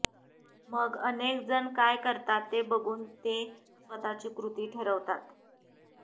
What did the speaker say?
मग अनेक जण काय करतात ते बघून ते स्वतःची कृती ठरवतात